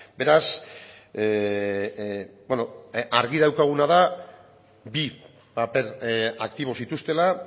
beraz argi daukaguna da bi paper aktibo zituztela